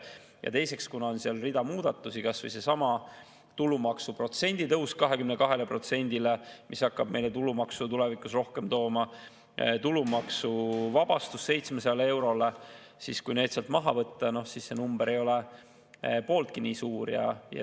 Ja teiseks, kuna seal on rida muudatusi – kas või seesama tulumaksuprotsendi tõus 22%-le, mis hakkab meile tulumaksu tulevikus rohkem tooma, tulumaksuvabastus 700 eurole –, siis kui need sealt maha võtta, see number ei oleks pooltki nii suur.